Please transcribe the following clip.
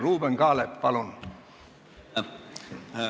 Ruuben Kaalep, palun!